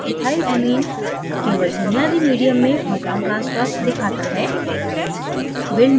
क्योंकि ethylamine केवल बुनियादी medium में proton transfer दिखाता है